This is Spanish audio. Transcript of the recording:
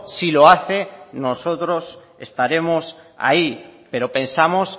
si lo hace nosotros estaremos ahí pero pensamos